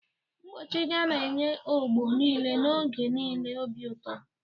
Mkpọchị gana enye ọgbọ niile n'oge niile obi ụtọ.